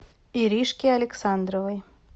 иришке александровой